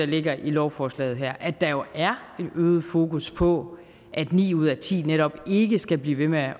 ligger i lovforslaget her at der er en øget fokus på at ni ud af ti netop ikke skal blive ved med at